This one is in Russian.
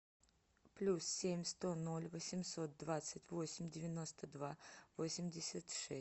плюс семь сто ноль восемьсот двадцать восемь девяносто два восемьдесят шесть